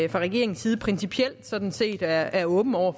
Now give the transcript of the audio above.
regeringens side principielt sådan set er er åben over